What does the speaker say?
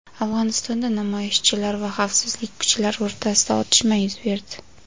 Afg‘onistonda namoyishchilar va xavfsizlik kuchlari o‘rtasida otishma yuz berdi.